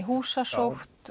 húsasótt